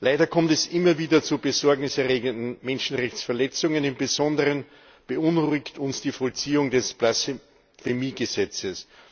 Leider kommt es immer wieder zu Besorgnis erregenden Menschenrechtsverletzungen. Im Besonderen beunruhigt uns die Vollziehung des Blasphemiegesetzes.